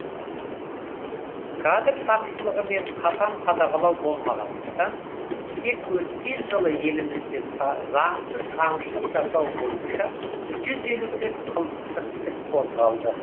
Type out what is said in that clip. кадр тапшылығы мен қатаң қадағалау болмағандықтан тек өткен жылы елімізде заңсыз аңшылық жасау бойынша жүз елу төрт қылмыстық іс қозғалды